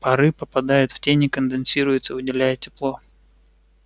пары попадают в тень и конденсируются выделяя тепло